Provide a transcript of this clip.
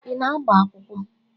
Ị na-agba akwụkwọ?